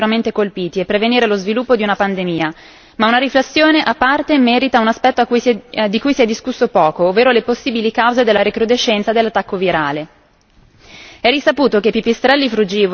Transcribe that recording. Ora l'imperativo è salvare vite umane, nei paesi più duramente colpiti, e prevenire lo sviluppo di una pandemia, ma una riflessione a parte merita un aspetto di cui si è discusso poco, ovvero le possibili cause della recrudescenza dell'attacco virale.